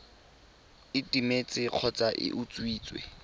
e timetse kgotsa e utswitswe